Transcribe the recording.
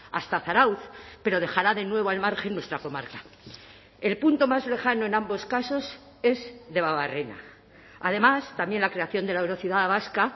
hasta zarautz pero dejará de nuevo al margen nuestra comarca el punto más lejano en ambos casos es debabarrena además también la creación de la eurociudad vasca